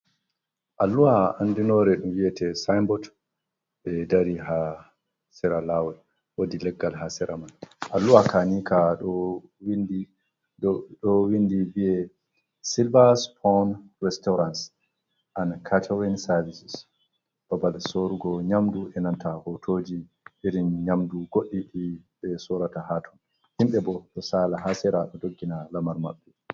Alluha andinore vi'eite sainbot ɓe dari ha sera lawol wodi leggal ha sera mai. Alluha ka nika ɗo windi be Silver Spoon Restaurants and Catering Services. babal sorugo nyamdu e nanta hotoji irin nyamdu goɗɗi ɗi ɓe sorata haton. Himɓe bo to sala ha sera ɗo doggina lamar maɓɓe.